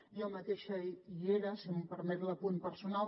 jo mateixa hi era si em permet l’apunt personal